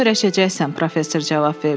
Buna öyrəşəcəksən, professor cavab verdi.